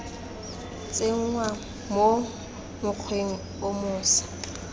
tsenngwa mo mokgweng o moša